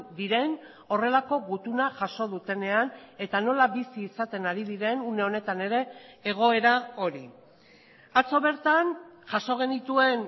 diren horrelako gutuna jaso dutenean eta nola bizi izaten ari diren une honetan ere egoera hori atzo bertan jaso genituen